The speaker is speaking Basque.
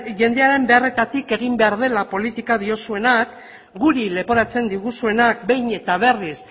jendearen beharretatik egin behar dela politika diozuenak guri leporatzen diguzuenak behin eta berriz